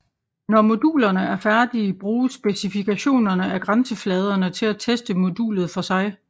Når modulerne er færdige bruges specifikationerne af grænsefladerne til at teste modulet for sig